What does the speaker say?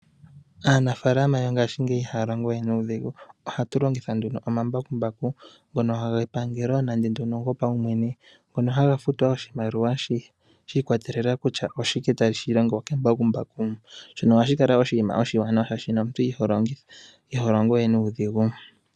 Aanafaalama yongashingeyi ihaya longo we nuudhigu, ohaya longitha nduno omambakumbaku ngono gepangelo nenge go paumwene, ngono haga futwa oshimaliwa, shi ikwatelela, kutya oshike tashi longwa kembakumbaku. Shono ohashi kala oshiwanawa sha shi omuntu iho longo we nuudhigu.